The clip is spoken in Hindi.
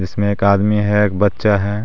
ईसमे एक आदमी है एक बच्चा है.